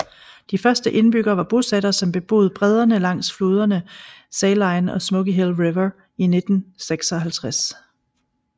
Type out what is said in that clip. De første indbyggerne var bosættere som beboede bredderne langs floderne Saline og Smoky Hill River i 1956